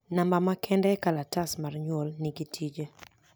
Number ma kende e kalatas mar nyuol nigi tije